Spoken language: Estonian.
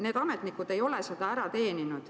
Need ametnikud ei ole seda segadust ära teeninud.